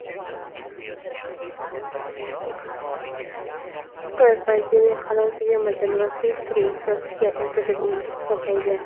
Xitoy pandemiya hali tugamagan va surishtiruv o‘tkazishga erta deb hisoblaydi.